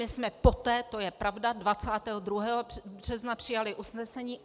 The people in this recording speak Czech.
My jsme poté, to je pravda, 22. března přijali usnesení.